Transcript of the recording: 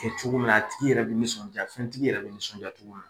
Kɛ cogo min na, a tigi yɛrɛ bi nisɔndiya fɛntigi yɛrɛ bi nisɔndiya cogo min na